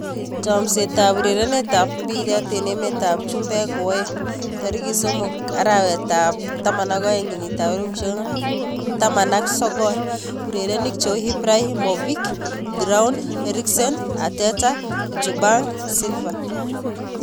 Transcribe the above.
Chomset ab urerenet ab mbiret eng emet ab chumbek koaeng' 03.12.2019: Ibrahimovic, Giroud, Eriksen, Arteta, Ljungberg, Silva